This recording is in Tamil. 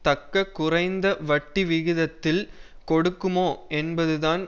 தக்க குறைந்த வட்டி விகிதத்தில் கொடுக்குமோ என்பது தான்